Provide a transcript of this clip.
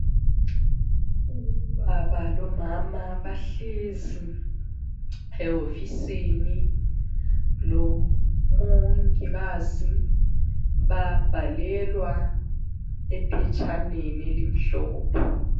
Ubaba lomama bahlezi ewofisini lomongikazi. Babhalelwa ephetshaneni elimhlophe.